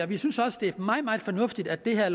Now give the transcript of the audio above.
vi synes også det er meget meget fornuftigt at det her